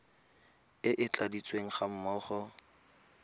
e e tladitsweng ga mmogo